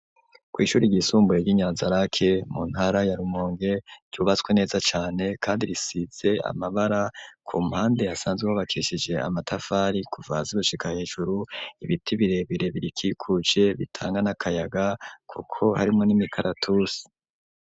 Kw'ishuri ryisumbuye ry'i Nyanzarake, mu ntara ya Rumonge, ryubatswe neza cane kandi risize amabara, ku mpande hasanzwe hubakishije amatafari kuva hasi gushika hejuru, ibiti birebire birikikuje bitanga n'akayaga, kuko harimwo n'imikaratusi.